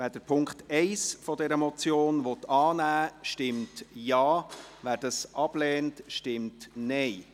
Wer den Punkt 1 dieser Motion annehmen will, stimmt Ja, wer diesen ablehnt, stimmt Nein.